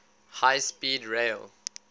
high speed rail